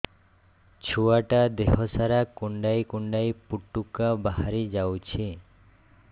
ଛୁଆ ଟା ଦେହ ସାରା କୁଣ୍ଡାଇ କୁଣ୍ଡାଇ ପୁଟୁକା ବାହାରି ଯାଉଛି